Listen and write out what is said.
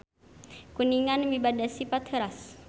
Kuningan mibanda sipat heuras.